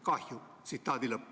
Kahju.